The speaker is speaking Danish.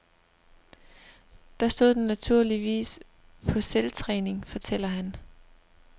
Der stod den naturligvis på selvtræning, fortæller han.